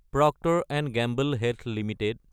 Procter & Gamble health Ltd